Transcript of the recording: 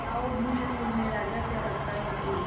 बताओ भी न मुन्ने राजा क्या लगता है तुम्हें